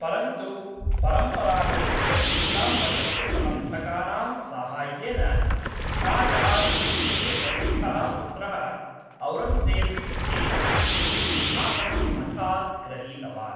परन्तु परम्परागतस्य इस्लाम्मतस्य समर्थकानां साहाय्येन शाहजहाँ इत्यस्य कनिष्ठः पुत्रः औरङ्गज़ेब् इत्येषः सिंहासनं हठात् ग्रहीतवान्।